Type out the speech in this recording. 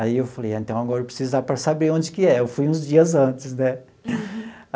Aí eu falei ah, então, agora eu preciso ir lá para saber onde que é. Eu fui uns dias antes, né?